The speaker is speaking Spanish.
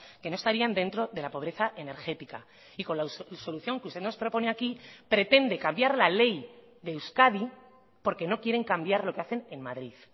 que no estarían dentro de la pobreza energética y con la solución que usted nos propone aquí pretende cambiar la ley de euskadi porque no quieren cambiar lo que hacen en madrid